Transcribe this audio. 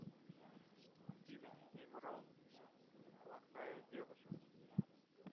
афина имрон плохая девушка